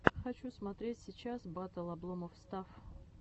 хочу смотреть сейчас батл обломофф стафф